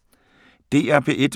DR P1